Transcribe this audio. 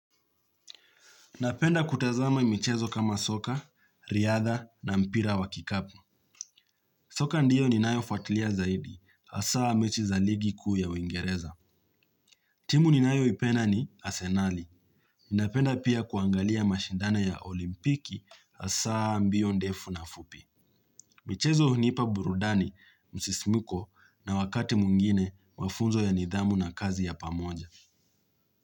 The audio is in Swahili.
Napenda kutazama michezo kama soka, riadha na mpira wa kikapu. Soka ndiyo ninayo fuatlia zaidi, asaa mechi za ligiku ya uingereza. Timu ni nayo ipenda ni asenali. Napenda pia kuangalia mashindano ya olimpiki, asaa mbio ndefu na fupi. Michezo hunipa burudani msisimuko na wakati mwingine mafunzo ya nidhamu na kazi ya pamoja.